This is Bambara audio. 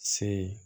Se